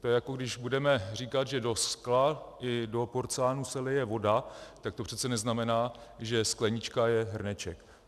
To je, jako když budeme říkat, že do skla i do porcelánu se lije voda, tak to přece neznamená, že sklenička je hrneček.